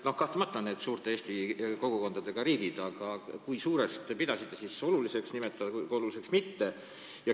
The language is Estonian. No kahtlemata on seal suurte eesti kogukondadega riigid, aga kui suurest kogukonnast alates te pidasite siis oluliseks riik nimekirja panna ja kui väikesest alates mitte.